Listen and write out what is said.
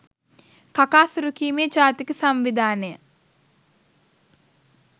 කකා සුරුකීමේ ජාතික සංවිධානය